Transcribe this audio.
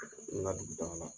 N ka dugu taga la.